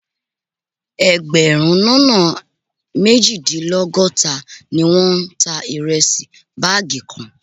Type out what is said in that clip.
Ẹgbẹ̀rún lọ́nà méjìdínlọ́gọ́ta ni wọ́n ta ìrẹsì báàgì kan